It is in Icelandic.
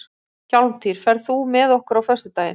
Hjálmtýr, ferð þú með okkur á föstudaginn?